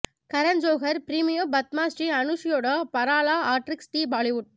கரண் ஜோஹர் பிரீமியோ பத்மா ஸ்ரீ அனுன்சியாடோ பரா லா ஆக்ட்ரிஸ் டி பாலிவுட்